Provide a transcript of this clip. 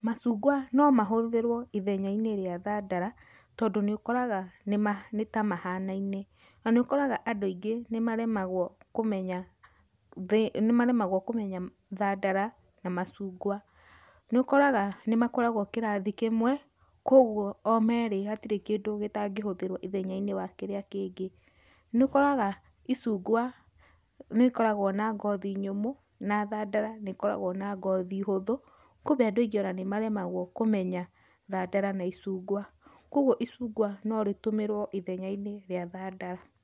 Macungwa no mahũthĩrwo ithenya-inĩ rĩa thandara tondũ nĩ ũkoraga nĩma, nĩtamahanaine. Na nĩ ũkoraga andũ aingĩ nĩmaremagwo kũmenya, nĩmaremagwo kũmenya thandara na macungwa. Nĩũkoraga nĩmakoragwo kĩrathi kĩmwe, kwoguo o merĩ hatirĩ kĩndũ gĩtangĩhũthĩrwo ithenya-inĩ wa kĩrĩa kĩngĩ. Nĩ ũkoraga icungwa nĩrĩkoragwo na ngothi nyũmũ, na thandara nĩkoragwo na ngothi hũthũ, kumbe andũ aingĩ nĩmaremagwo kũmenya thandara na icungwa. Kwogwo icungwa no rĩtũmĩrwo ithenya-inĩ rĩa thandara.